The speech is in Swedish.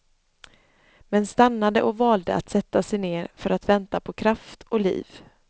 Men stannade och valde att sätta sig ner för att vänta på kraft och liv.